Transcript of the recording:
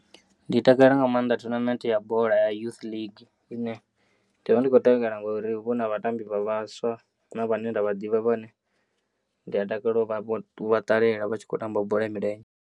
Ndi takalela nga maanḓa thonamente ya bola ya youth ligi ine, ndi vha ndi kho tevhela ngori huvha huna vhatambi vha vhaswa huna vhane ndavha ḓivha vhane ndi ya takalela u vha vho, u vha ṱalela vha tshi kho tamba bola ya milenzhe.